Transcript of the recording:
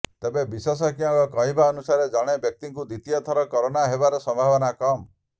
ତେବେ ବିଶେଷଜ୍ଞଙ୍କ କହିବାନୁସାରେ ଜଣେ ବ୍ୟକ୍ତିଙ୍କୁ ଦ୍ୱିତୀୟ ଥର କରୋନା ହେବାର ସମ୍ଭାବନା କମ୍